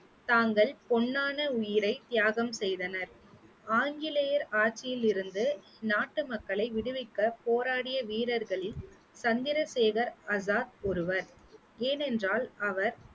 தாங்கள் பொன்னான உயிரை தியாகம் செய்தனர் ஆங்கிலேயர் ஆட்சியில் இருந்து நாட்டு மக்களை விடுவிக்க போராடிய வீரர்களில் சந்திரசேகர் ஆசாத் ஒருவர் ஏனென்றால் அவர்